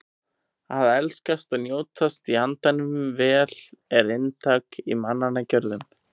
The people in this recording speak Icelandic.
Að elskast og njótast í andanum vel er inntak í mannanna gjörðum.